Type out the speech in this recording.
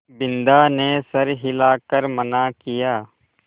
बिन्दा ने सर हिला कर मना किया